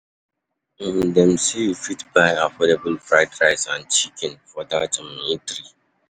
um Dem sey you fit buy affordable fried rice and chicken for dat um eatery.